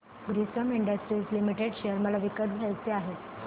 Grasim industries limited share मला विकत घ्यायचे आहेत